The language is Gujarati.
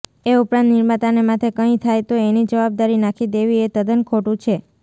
એ ઉપરાંત નિર્માતાને માથે કંઈ થાય તો એની જવાબદારી નાખી દેવી એ તદ્દન ખોટું છે